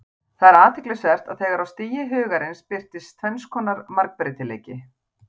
Það er athyglisvert að þegar á stigi Hugarins birtist tvenns konar margbreytileiki.